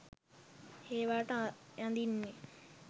ඒවාට අඳින්න